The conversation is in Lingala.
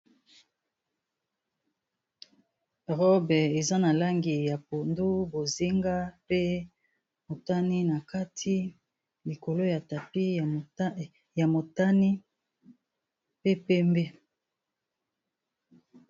Robe eza na langi ya pondu bozinga pe motani na kati likolo ya tapis ya motani pe pembe.